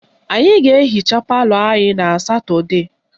Anyị ga-ehicha palọ anyị na Satọdee